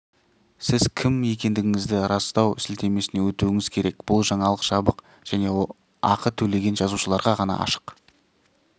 сіз кім екендігіңізді растау сілтемесіне өтуіңіз керек бұл жаңалық жабық және ақы төлеген жазылушыларға ғана ашық